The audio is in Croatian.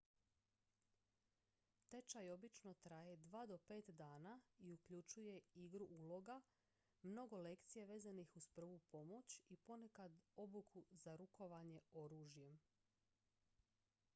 tečaj obično traje 2 do 5 dana i uključuje igru uloga mnogo lekcija vezanih uz prvu pomoć i ponekad obuku za rukovanje oružjem